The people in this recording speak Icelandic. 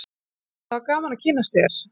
það var gaman að kynnast þér